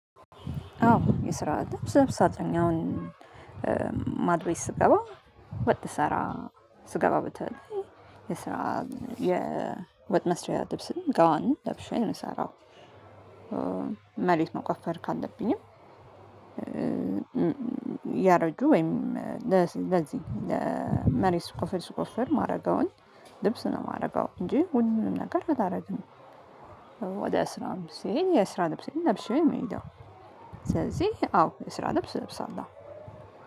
አዎ የስራ ድምጽ ሳጥኝ አሁን ቤት ማድ ስገባ ወጥ ልሰራ ስገባ በተለይ የስራ የወጥ መስሪያ ልብስም ጋውን ለብሼ ነው የምሰራው። መሬት መቆፈር ካለብኝም ያረጁ ወይም ለዚህ መሬት ስቆፍር ስቆፈር ማረገውን ልብስ ነው የማደርገው እንጂ ሁሉንም ነገር አላደርግም። ወደ ስራም ስሄድ የስራ ልብሴን ለብሼ ነው ምሄደው። ስለዚህ አዎ የስራ ልብስ እለብሳለሁ።